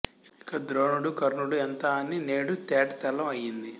ఇక ద్రోణుడు కర్ణుడు ఎంత అని నేడు తేటతెల్లం అయింది